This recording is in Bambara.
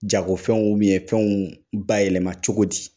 Jago fɛnw ubɛn fɛnw bayɛlɛma cogo di